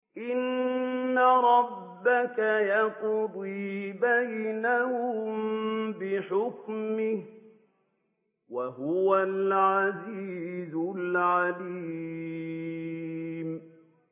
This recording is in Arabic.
إِنَّ رَبَّكَ يَقْضِي بَيْنَهُم بِحُكْمِهِ ۚ وَهُوَ الْعَزِيزُ الْعَلِيمُ